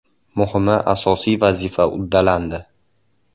Muhimi asosiy vazifa uddalandi.